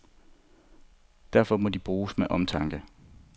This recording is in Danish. Derfor må de bruges med omtanke.